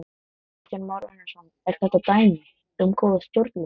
Kristján Már Unnarsson: Er þetta dæmi um góða stjórnsýslu?